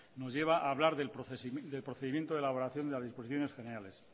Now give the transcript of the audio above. nos lleva a hablar del procedimiento de elaboración de las disposiciones generales